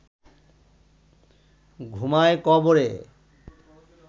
ঘুমায় কবরে